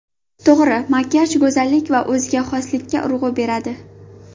To‘g‘ri makiyaj go‘zallik va o‘ziga xoslikka urg‘u beradi.